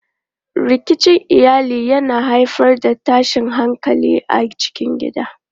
Rikicin iyali yana haifar da tashin hankali a cikin gida.